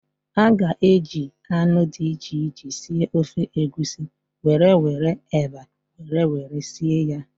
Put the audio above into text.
A ga-eji anụ dị iche iche sie ofe Egusi were were eba were were sie ya.